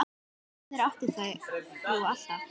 Lausnir áttir þú alltaf.